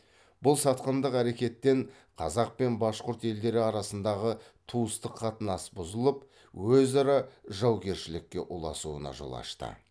бұл сатқындық әрекеттен қазақ пен башқұрт елдері арасындағы туыстық қатынас бұзылып өзара жаугершілікке ұласуына жол ашты